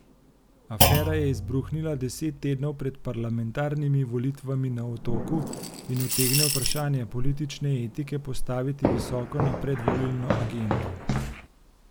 Afera je izbruhnila deset tednov pred parlamentarnimi volitvami na Otoku in utegne vprašanje politične etike postaviti visoko na predvolilno agendo.